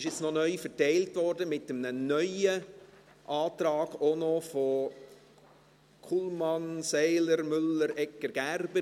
Die Unterlagen wurden Ihnen neu ausgeteilt, mit einem neuen Antrag, auch noch mit Anträgen von Kullmann, Seiler, Müller, Egger, Gerber.